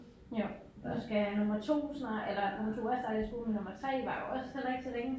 Jo nu skal nummer 2 snart eller nummer 2 er startet i skole men nummer 3 varer jo også heller ikke så længe